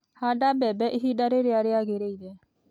Handa mbembe ihinda rĩrĩa rĩagĩrĩire